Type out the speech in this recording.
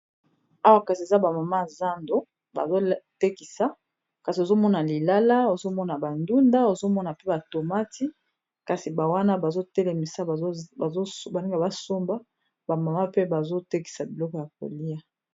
awa kasi eza bamama zando bazotekisa kasi ozomona lilala ozomona bandunda ozomona pe batomati kasi bawana bazotelemisa baninga basomba bamama pe bazotekisa biloko ya kolia